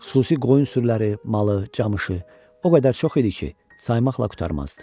Xüsusi qoyun sürüləri, malı, camışı o qədər çox idi ki, saymaqla qurtarmazdı.